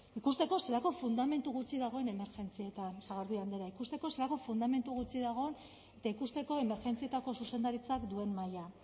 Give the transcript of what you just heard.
ikusteko zelako fundamentu gutxi emergentzietan sagardui andrea ikusteko zelako fundamentu gutxi dagoen eta ikusteko emergentzietako zuzendaritzak duen maila